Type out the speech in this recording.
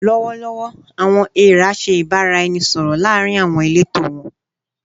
Lọwọlọwọ, "awọn eera" ṣe ibaraẹnisọrọ laarin awọn ileto wọn